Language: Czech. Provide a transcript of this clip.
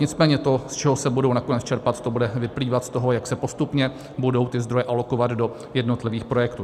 Nicméně to, z čeho se budou nakonec čerpat, to bude vyplývat z toho, jak se postupně budou ty zdroje alokovat do jednotlivých projektů.